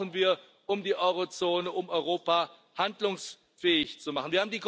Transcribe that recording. Das brauchen wir, um die Euro Zone, um Europa handlungsfähig zu machen.